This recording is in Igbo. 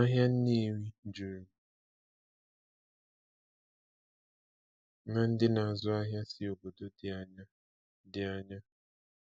Ahịa Nnewi juru na ndị na-azụ ahịa si obodo dị anya. dị anya.